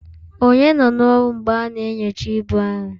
Ònye nọ n'ọrụ mgbe a na-enyocha ibu ahụ?